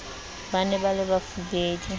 ba ne ba le bafubedi